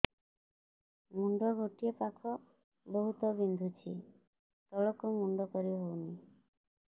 ମୁଣ୍ଡ ଗୋଟିଏ ପାଖ ବହୁତୁ ବିନ୍ଧୁଛି ତଳକୁ ମୁଣ୍ଡ କରି ହଉନି